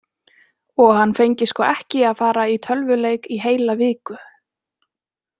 Og hann fengi sko ekki að fara í tölvuleik í heila viku.